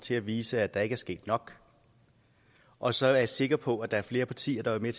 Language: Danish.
til at vise at der ikke er sket nok og så er jeg sikker på at der er flere partier der vil